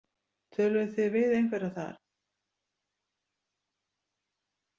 Töluðuð þið við einhverja þar?